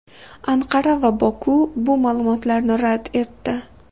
Anqara va Boku bu ma’lumotni rad etdi.